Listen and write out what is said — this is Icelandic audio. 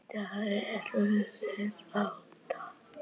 Í dag eru þeir átta.